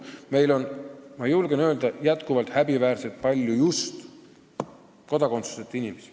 Ma julgen öelda, et meil on jätkuvalt ja häbiväärselt palju just kodakondsuseta inimesi.